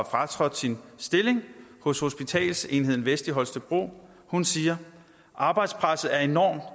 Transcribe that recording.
fratrådt sin stilling hos hospitalsenheden vest i holstebro hun siger arbejdspresset er enormt